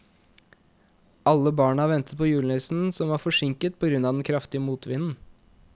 Alle barna ventet på julenissen, som var forsinket på grunn av den kraftige motvinden.